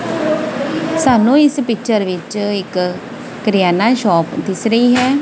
ਸਾਨੂੰ ਇੱਸ ਪਿਕਚਰ ਵਿੱਚ ਇੱਕ ਕਿਰੀਆਮਾ ਸ਼ੌਪ ਦਿੱਸ ਰਹੀ ਹੈ।